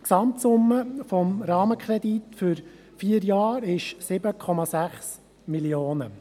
Die Gesamtsumme des Rahmenkredits für vier Jahre beträgt 7,6 Mio. Franken.